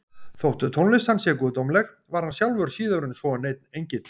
Þótt tónlist hans sé guðdómleg var hann sjálfur síður en svo neinn engill.